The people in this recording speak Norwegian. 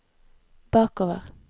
bakover